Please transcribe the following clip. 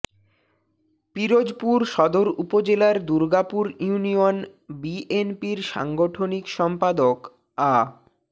পিরোজপুর সদর উপজেলার দুর্গাপুর ইউনিয়ন বিএনপির সাংগঠনিক সম্পাদক আ